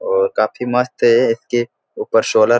और काफी मस्त है के ऊपर सोलर --